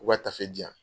U ka tafe diyan